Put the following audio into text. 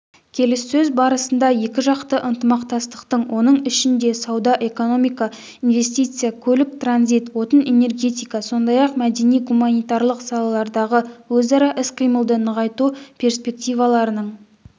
келіссөз барысында екіжақты ынтымақтастықтың оның ішінде сауда-экономика инвестиция көлік-транзит отын-энергетика сондай-ақ мәдени-гуманитарлық салалардағы өзара іс-қимылды нығайту перспективаларының